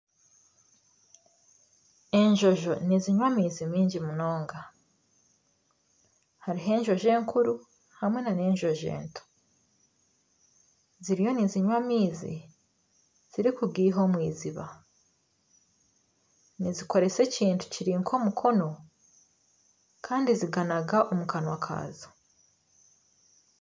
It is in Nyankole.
Enjojo nizinywa amaizi maingi munonga. Hariho enjojo enkuru hamwe nana enjojo ento. Ziriyo nizinywa amaizi zirikugaiha omu eiziba. Nizikoresa ekintu kiri nk'omukono kandi ziganaga omu kanwa kaazo.